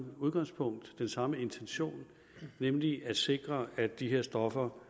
udgangspunkt den samme intention nemlig at sikre at de her stoffer